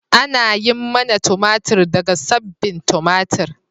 Ana yin manna tumatir daga sabbin tumatir.